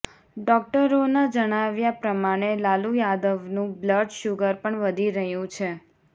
ડોક્ટરોના જણાવ્યા પ્રમાણે લાલુ યાદવનું બ્લડ શુગર પણ વધી રહ્યું છે